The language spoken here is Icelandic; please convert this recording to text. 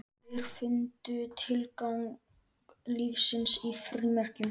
Aðrir fundu tilgang lífsins í frímerkjum.